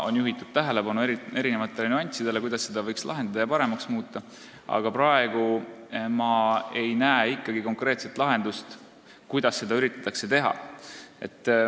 On juhitud tähelepanu erinevatele nüanssidele, kuidas probleemi võiks leevendada ja olukorda paremaks muuta, aga praegu ma ei näe ikkagi konkreetset lahendust, kuidas seda üritatakse teha.